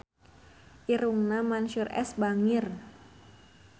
Irungna Mansyur S bangir